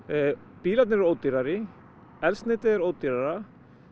bílarnir eru ódýrari eldsneytið er ódýrara